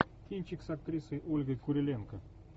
кинчик с актрисой ольгой куриленко